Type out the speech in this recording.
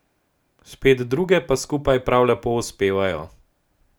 Spet druge pa skupaj prav lepo uspevajo.